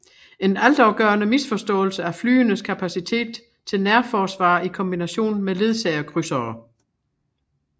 En altafgørende misforståelse af flyenes kapacitet til nærforsvar i kombination med ledsagerkrydsere